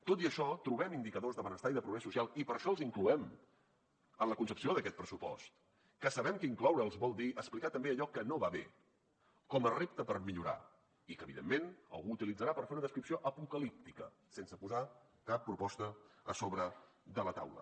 tot i això trobem indicadors de benestar i de progrés social i per això els incloem en la concepció d’aquest pressupost que sabem que incloure’ls vol dir explicar també allò que no va bé com a repte per millorar i que evidentment algú utilitzarà per fer una descripció apocalíptica sense posar cap proposta a sobre de la taula